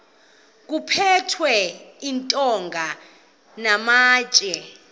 kuphethwe iintonga namatye